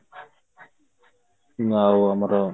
ଆଉ ଆମର